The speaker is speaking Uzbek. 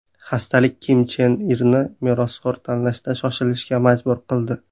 Xastalik Kim Chen Irni merosxo‘r tanlashda shoshilishga majbur qildi.